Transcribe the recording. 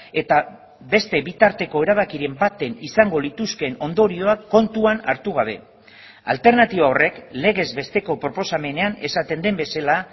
eta beste bitarteko erabakiren baten izango lituzkeen ondorioak kontuan hartu gabe alternatiba horrek legez besteko proposamenean esaten den bezala